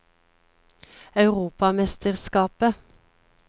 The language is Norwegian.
europamesterskapet